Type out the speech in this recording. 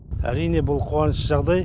әрине бұл қуанышты жағдай